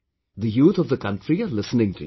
The youth of the country are listening to you